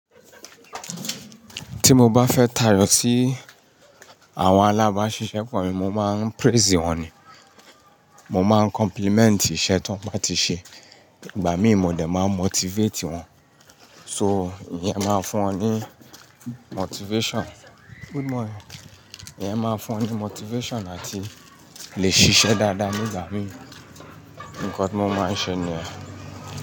Tí mo bá fẹ́ tàrò sí àwọn alábà n ṣiṣẹ́pọ̀ mi mo máa ń praise wọ́n ni, mo ma ń compliment iṣẹ́ tí wọ́n bá ti ṣe, ìgbà mí mo dé máa ń motivate wọ́n, so iye ma ń fún wọ́n ní motivation. Good morning iye ma ń fún wọ́n ní motivation àti lè ṣiṣẹ́ dada nígbà mí nkò tí mo ma ń ṣe ni e.